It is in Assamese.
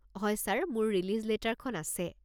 হয় ছাৰ। মোৰ ৰিলিজ লেটাৰখন আছে।